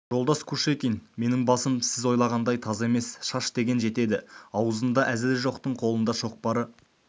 жолдас кушекин менің басым сіз ойлағандай таз емес шаш деген жетеді аузында әзілі жоқтың қолында шоқпары